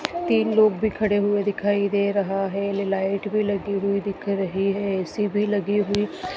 तीन लोग भी खड़े हुए दिखाई दे रहा है लाइट भी लगी हुई दिख रही है ए_सी भी लगी हुई--